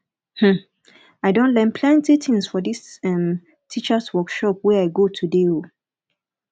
um i don learn plenty tins for dis um teachers workshop wey i go today um